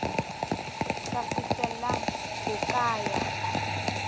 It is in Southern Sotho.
ka fihlellang ho ka ya